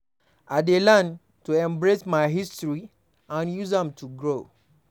I dey learn to embrace my history and use am to grow.